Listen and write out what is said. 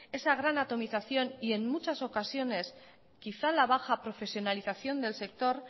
esa gran atomización y en muchas ocasiones quizá la baja profesionalización del sector